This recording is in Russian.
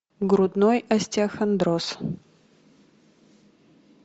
грудной остеохондроз